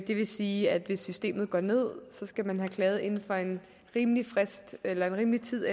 det vil sige at hvis systemet går ned skal man have klaget inden for en rimelig frist eller en rimelig tid